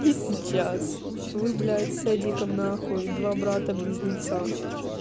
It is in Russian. и сейчас вы блять с эдиком на хуй два брата-близнеца